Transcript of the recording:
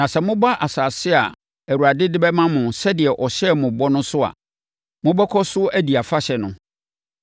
Na sɛ moba asase a Awurade de bɛma mo sɛdeɛ ɔhyɛɛ mo ho bɔ no so a, mobɛkɔ so adi afahyɛ no.